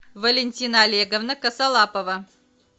валентина олеговна косолапова